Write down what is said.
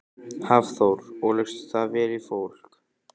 Hafþór: Og leggst það vel í fólk?